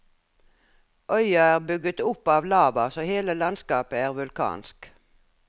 Øya er bygget opp av lava, så hele landskapet er vulkansk.